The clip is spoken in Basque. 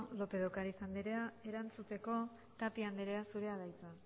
lópez de ocariz andrea erantzuteko tapia andrea zurea da hitza